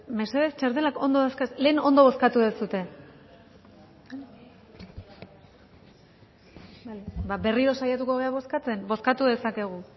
mesedez txartelak ondo dauzkazue lehen ondo bozkatu duzue ba berriro saiatuko gara bozkatzen bozkatu dezakegu